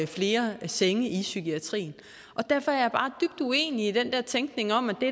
flere senge i psykiatrien derfor er jeg bare dybt uenig i den der tænkning om at det